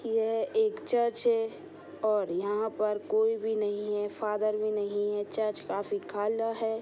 यह एक चर्च है| ओर यह पर कोई भी नहीं है| फादर भी नहीं है| चर्च काफी खाला है ।.